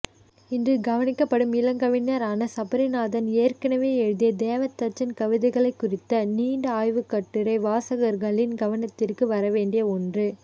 இன்று கவனிக்கப்படும் இளங்கவிஞரான சபரிநாதன் ஏற்கனவே எழுதிய தேவதச்சன் கவிதைகளைக்குறித்த நீண்ட ஆய்வுக்கட்டுரை வாசகர்களின் கவனத்திற்கு வரவேண்டிய ஒன்று